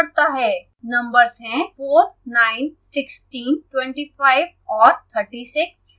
numbers हैं: 4 9 16 25 और 36